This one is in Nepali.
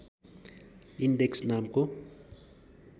इन्डेक्स नामको